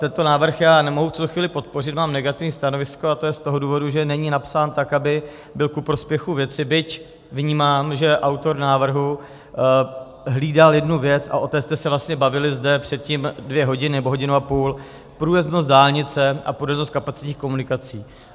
Tento návrh já nemohu v tuto chvíli podpořit, mám negativní stanovisko, a to je z toho důvodu, že není napsán tak, aby byl ku prospěchu věci, byť vnímám, že autor návrhu hlídal jednu věc - a o té jste se vlastně bavili zde předtím dvě hodiny, nebo hodinu a půl - průjezdnost dálnice a průjezdnost kapacitních komunikací.